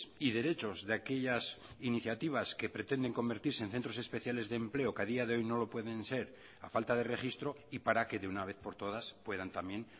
y derechos de aquellas iniciativas que pretenden convertirse en centros especiales de empleo que a día de hoy no lo pueden ser a falta de registro y para que de una vez por todas puedan también